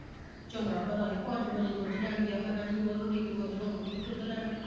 ਚੰਗਾ ਭਲਾ ਹੀ ਪੰਜ ਵਜੇ ਦੁੱਧ ਲੈਣ ਗਿਆ ਮੈਂ ਕਹਿੰਦੀ john ਨੂੰ ਲੈ ਕੇ ਮੈਂ ਉਧਰੋਂ ਆਣ ਦਈ ਦੁੱਧ ਲੈਣ